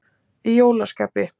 Í jólaskapi.